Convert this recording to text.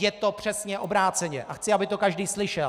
Je to přesně obráceně a chci, aby to každý slyšel!